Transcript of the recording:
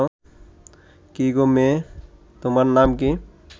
কি গো মেয়ে, তোমার নাম কি